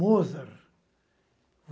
Mozart.